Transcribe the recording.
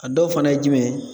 A dɔw fana ye jumɛn ye?